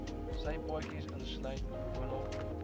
sypaadjies insluit boonop